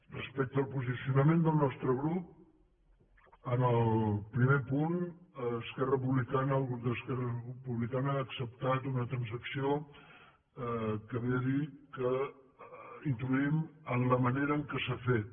respecte al posicionament del nostre grup en el primer punt esquerra republicana el grup d’esquerra republicana ha acceptat una transacció que ve a dir que introduïm en la manera en què s’ha fet